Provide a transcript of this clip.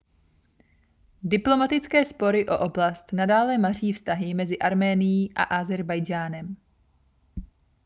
diplomatické spory o oblast nadále maří vztahy mezi arménií a ázerbajdžánem